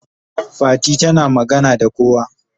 Fati tana magana da kowa.